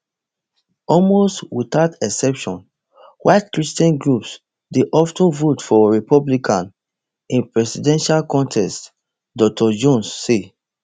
almost without exception white christian groups dey of ten vote for republican in presidential contests dr jones say